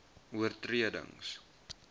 oortredings